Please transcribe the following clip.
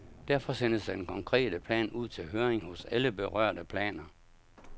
Derefter sendes den konkrete plan ud til høring hos alle berørte planer.